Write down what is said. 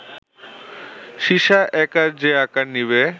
সীসা একা যে আকার নিবে